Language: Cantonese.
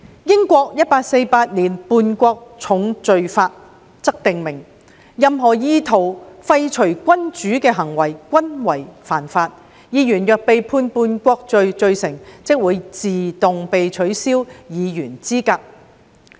英國《1848年叛國重罪法》則訂明，任何意圖廢黜君主的行為均為犯罪，議員若被判叛國罪罪成，即會自動被取消議員資格。